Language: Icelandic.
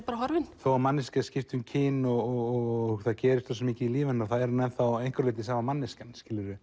bara horfin þó að manneskja skipti um kyn og það gerist svo mikið í lífi hennar þá er hún að einhverju leyti sama manneskjan